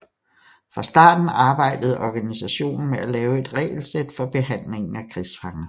Fra starten arbejdede organisationen med at lave et regelsæt for behandlingen af krigsfanger